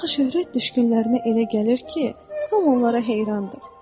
Axı şöhrətdüşkünlərinə elə gəlir ki, hamı onlara heyranır.